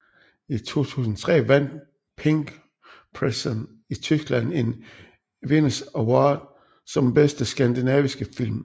I 2003 vandt Pink Prison i Tyskland en Venus Award som Bedste Skandinaviske Film